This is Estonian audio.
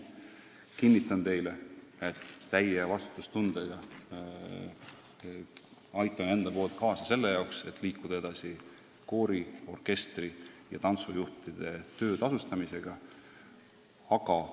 Kinnitan teile täie vastutustundega, et aitan isiklikult kaasa, et me koori-, orkestri- ja tantsujuhtide töö tasustamisega edasi liiguksime.